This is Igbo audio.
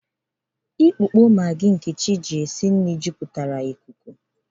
Ukpo Magi Nkechi ji esi nri na-ekpo jupụtara ikuku.